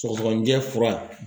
Sɔgɔsɔgɔnijɛ fura.